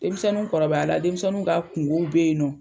Denmisɛnninw kɔrɔbaya la, denmisɛnninw ka kungo bɛ yen nɔ.